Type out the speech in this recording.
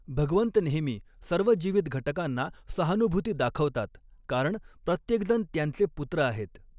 भगवऺत नेहमी सर्व जीवित घटकांना सहानुभूती दाखवतात कारण प्रत्येकजण त्यऻचे पुत्र आहेत.